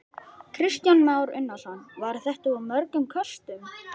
Kristján Már Unnarsson: Var þetta úr mörgum köstum?